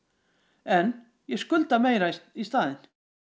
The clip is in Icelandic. en ég skulda meira í staðinn